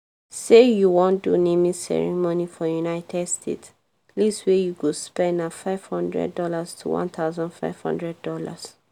say you wan do naming ceremony for united states least wey you go spend na five hundred dollars to $1500